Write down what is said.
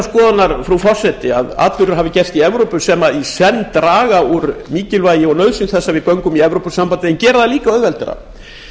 skoðunar frú forseti að atburðir hafi gerst í evrópu sem í senn draga úr mikilvægi og nauðsyn þess að göngum í evrópusambandið en geri það líka auðveldara